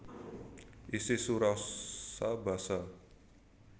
Isi surasa basa